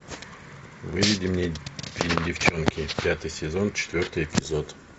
выведи мне фильм девчонки пятый сезон четвертый эпизод